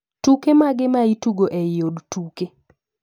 Tuke mage maitugo eiy od tuke